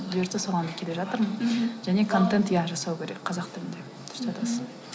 бұйыртса соған келе жатырмын мхм және контент иә жасау керек қазақ тілінде дұрыс айтасың